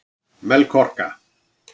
Melkorka